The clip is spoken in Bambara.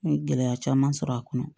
N ye gɛlɛya caman sɔrɔ a kɔnɔ